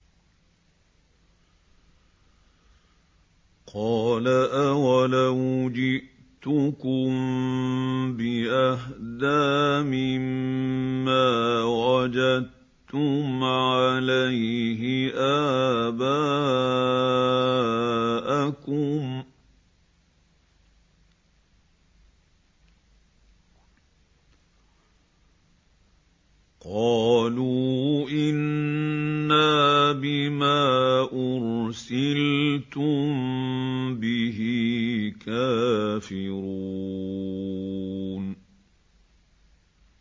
۞ قَالَ أَوَلَوْ جِئْتُكُم بِأَهْدَىٰ مِمَّا وَجَدتُّمْ عَلَيْهِ آبَاءَكُمْ ۖ قَالُوا إِنَّا بِمَا أُرْسِلْتُم بِهِ كَافِرُونَ